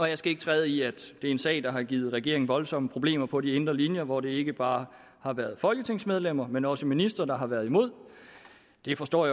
jeg skal ikke træde i at det er en sag der har givet regeringen voldsomme problemer på de indre linjer hvor det ikke bare har været folketingsmedlemmer men også ministre der har været imod det forstår